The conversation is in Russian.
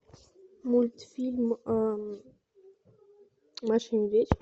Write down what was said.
мультфильм маша и медведь